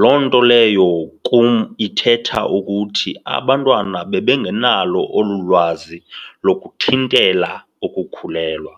Loo nto leyo kum ithetha ukuthi abantwana bebengenalo olu lwazi lokuthintela ukukhulelwa.